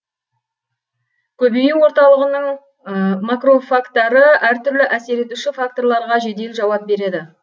көбею орталығының макрофагтары әртүрлі әсер етуші факторларға жедел жауап береді